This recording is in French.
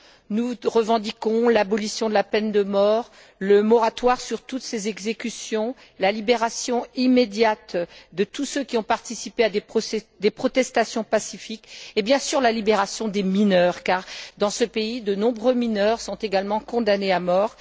Nous revendiquons l'abolition de la peine de mort, le moratoire sur toutes ces exécutions, la libération immédiate de tous ceux qui ont participé à des protestations pacifiques et, bien sûr, la libération des mineurs car, dans ce pays, de nombreux mineurs sont également condamnés à mort.